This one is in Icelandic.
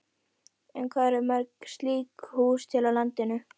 En hvað eru mörg slík hús til á landinu?